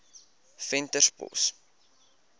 venterspost